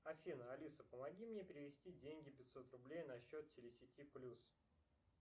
афина алиса помоги мне перевести деньги пятьсот рублей на счет телесети плюс